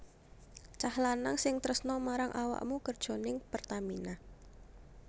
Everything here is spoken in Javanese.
Cah lanang sing tresno marang awakmu kerjo ning Pertamina